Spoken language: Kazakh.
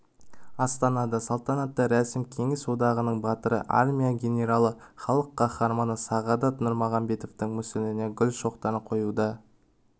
астанада салтанатты рәсім кеңес одағының батыры армия генералы халық қаһарманы сағадат нұрмағамбетовтің мүсініне гүл шоқтарын қоюдан